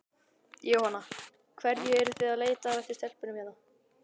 Jóhanna: Hverju eruð þið að leita eftir í stelpunum hérna?